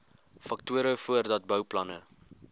faktore voordat bouplanne